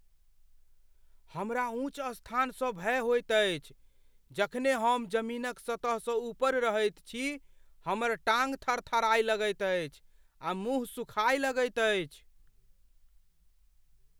हमरा ऊँच स्थानसँ भय होइत अछि। जखने हम जमीनक सतहसँ ऊपर रहैत छी, हमर टांग थरथराय लगैत अछि आ मुँह सुखाय लगैत अछि।